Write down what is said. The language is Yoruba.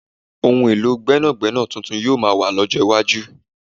Ohun èlò gbẹ́nàgbẹ́nà tuntun yoo maa wà lọ́jọ́ iwájú